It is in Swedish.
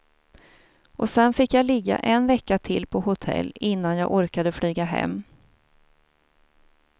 Och sen fick jag ligga en vecka till på hotell innan jag orkade flyga hem.